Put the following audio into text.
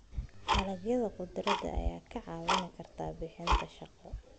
Dalagyada khudradda ayaa kaa caawin kara bixinta shaqo.